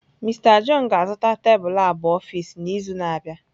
Mister john ga-azụta tebụl ab office n’izu na-abịa.